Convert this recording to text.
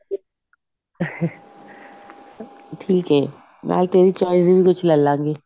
ਠੀਕ ਐ ਮੈਂ ਤੇਰੀ choice ਦਾ ਵੀ ਕੁੱਛ ਲੈ ਲਵਾਂਗੀ